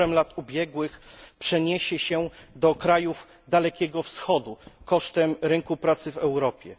Wzorem lat ubiegłych przeniesie się do krajów Dalekiego Wschodu, kosztem rynku pracy w Europie.